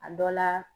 A dɔ la